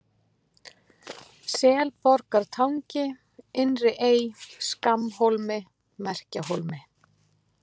Selborgartangi, Innri-Ey, Skammhólmi, Merkjahólmi